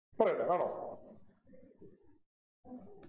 പറയട്ടെ വേണോ